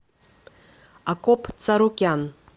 акоп царукян